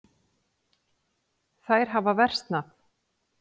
Þær hafa versnað.